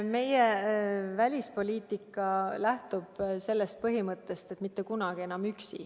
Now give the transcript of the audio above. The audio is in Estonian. Meie välispoliitika lähtub sellest põhimõttest, et mitte kunagi enam üksi.